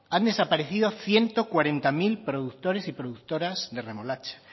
han desaparecido ciento cuarenta mil productores y productoras de remolacha